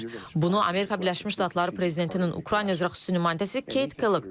Bunu Amerika Birləşmiş Ştatları prezidentinin Ukrayna üzrə xüsusi nümayəndəsi Keyt Kellogg deyib.